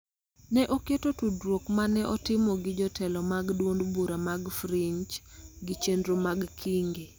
ne oketo tudruok ma ne otimo gi jotelo mag duond bura mag fringe gi chenro mag Kingi.